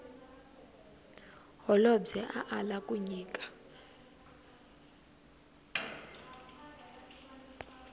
holobye a ala ku nyika